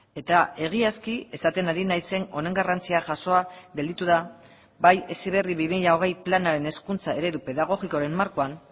eta egiazki esaten ari naizen honen garrantzia jasoa gelditu da bai heziberri bi mila hogei planaren hezkuntza eredu pedagogikoaren markoan